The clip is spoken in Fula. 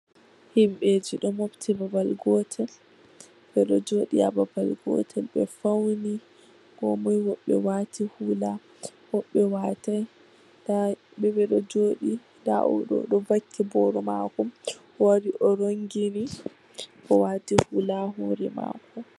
Himɓeji ɗo mofti babal gotel, ɓe ɗo jooɗi ha babal gotel ɓe fauni. Ko moi... woɓɓe waati hula, woɓɓe waatai, nda ɓe ɓe ɗo jooɗi. Nda o ɗo vakki boro mako, o wari o rongini, o waati hula ha hore mako.